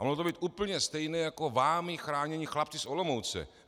A mohlo to být úplně stejné jako vámi chránění chlapci z Olomouce.